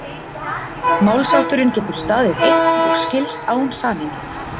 málshátturinn getur staðið einn og skilst án samhengis